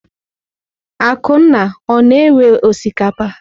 Akunna o-na ewe osikapa?